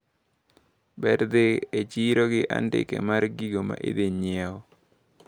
Ber dhi e chiro gi andike mar gigo maidhi nyiewo.